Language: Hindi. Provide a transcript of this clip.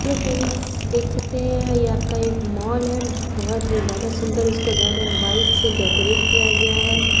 हेल्लो फ्रेंड्स देख सकते हैं ये आपका एक मॉल ही बोहोत ही ज्यादा सुन्दर है इसको रेड एंड वाइट सी डेकोरेट किया गया है।